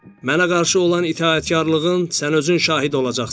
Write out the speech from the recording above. Mənə qarşı olan itaətkarılığın sən özün şahid olacaqsan.